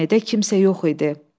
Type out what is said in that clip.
Cameədə kimsə yox idi.